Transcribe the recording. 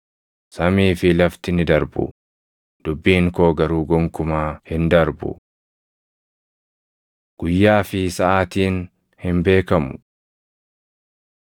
Samii fi lafti ni darbu; dubbiin koo garuu gonkumaa hin darbu. Guyyaa fi Saʼaatiin Hin Beekamu 24:37‑39 kwf – Luq 17:26,27 24:45‑51 kwf – Luq 12:42‑46